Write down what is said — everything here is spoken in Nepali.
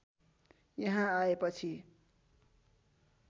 यहाँ आएपछि